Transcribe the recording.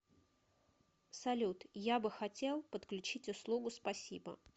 салют я бы хотел подключить услугу спасибо